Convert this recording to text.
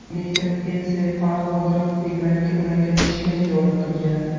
Elektr ensefalograf ekranga ulangan shlemga o‘rnatilgan.